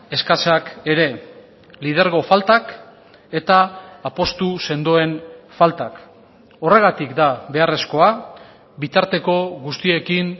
eskasak ere lidergo faltak eta apustu sendoen faltak horregatik da beharrezkoa bitarteko guztiekin